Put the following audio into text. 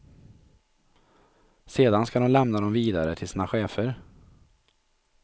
Sedan ska de lämna dem vidare till sina chefer.